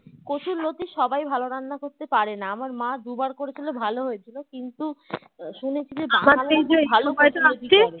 কচুর লোটি সবাই ভালো রান্না করতে পারে না আমার মা দুবার করেছিল ভালো হয়েছিল কিন্তু আহ শুনেছি যে